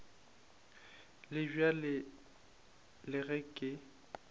le bjalo le ge ke